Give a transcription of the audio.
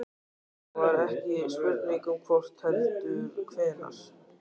Það var ekki spurning um hvort heldur hvenær.